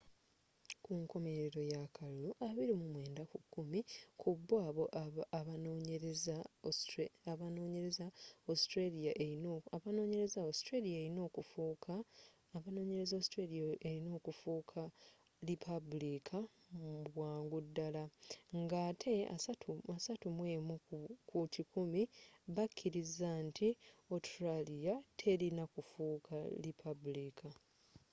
kunkomelero y'akalulu 29 ku kikumi kubbo abanonyereza australia elina okufuuka lipabulika mubwangu dala nga ate 31 ku kikumi bakiriza nti autralia telina kufuuka lipaabuliika